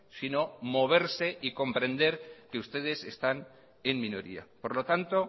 sino moverse y comprender que ustedes están en minoría por lo tanto